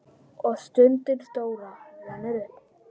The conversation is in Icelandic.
Og stundin stóra rennur upp.